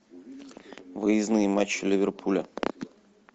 выездные матчи ливерпуля